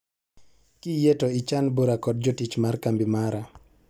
Kiyie to ichan bura kod jotich mar kambi mara